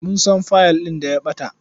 Mun san fayil ɗin da ya ɓata.